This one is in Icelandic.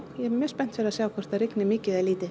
ég er mjög spennt fyrir að sjá hvort það rigni mikið eða lítið